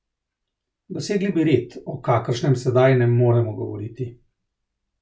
Dosegli bi red, o kakršnem sedaj ne moremo govoriti.